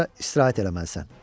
Yaxşıca istirahət eləməlisən.